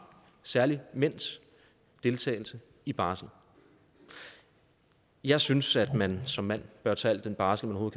særlig mænds deltagelse i barsel jeg synes at man som mand bør tage al den barsel man